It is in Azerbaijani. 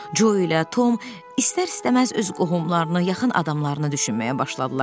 Co ilə Tom istər-istəməz öz qohumlarını, yaxın adamlarını düşünməyə başladılar.